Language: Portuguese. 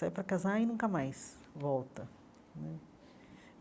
Sai para casar e nunca mais volta né.